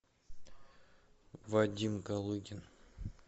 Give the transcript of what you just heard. вадим галыгин